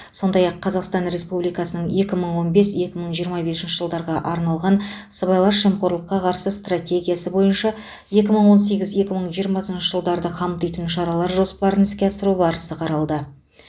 сондай ақ қазақстан республикасының екі мың он бес екі мың жиырма бесінші жылдарға арналған сыбайлас жемқорлыққа қарсы стратегиясы бойынша екі мың он сегіз екі мың жиырмасыншы жылдарды қамтитын шаралар жоспарын іске асыру барысы қаралды